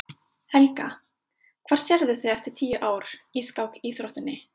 Helga: Hvar sérðu þig eftir tíu ár í, í skákíþróttinni?